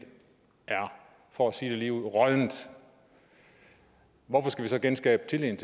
er for at sige det ligeud råddent hvorfor skal vi så genskabe tilliden